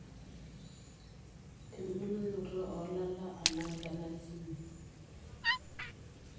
Ebulunoto olala anaa enarikino.